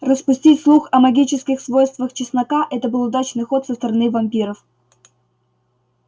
распустить слух о магических свойствах чеснока это был удачный ход со стороны вампиров